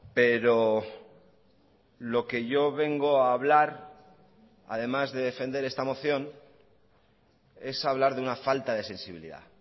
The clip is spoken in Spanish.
pero lo que yo vengo a hablar además de defender esta moción es hablar de una falta de sensibilidad